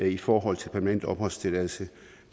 i forhold til permanent opholdstilladelse